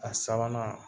A sabanan